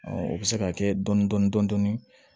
o bɛ se ka kɛ dɔni dɔni dɔni dɔni